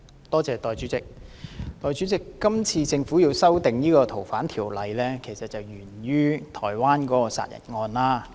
代理主席，這次政府要修訂《逃犯條例》是源於台灣一宗殺人案。